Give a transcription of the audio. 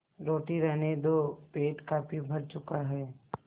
रोटी रहने दो पेट काफी भर चुका है